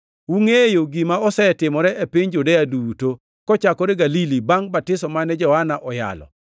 Ungʼeyo gima osetimore e piny Judea duto, kochakore Galili, bangʼ batiso mane Johana oyalo;